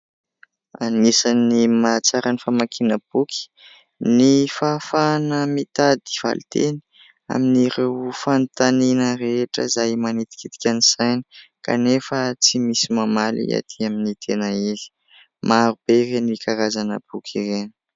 Anisan'ny mahatsara ny famakiana boky ny fahafahana mitady valiteny amin'ireo fanontaniana rehetra izay manitikitika ny saina, kanefa tsy misy mamaly atỳ amin'ny tena izy ; marobe ireny karazana boky ireny.